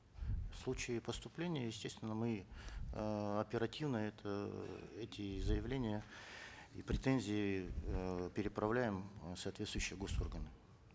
в случае поступления естественно мы эээ оперативно это э эти заявления и претензии э переправляем э в соответствующие гос органы